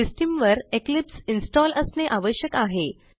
system वर Eclipse install असणे आवश्यक आहे